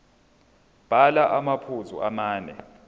bhala amaphuzu amane